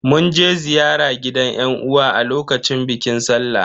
Mun je ziyara gidan yan uwa a lokacin bikin sallah.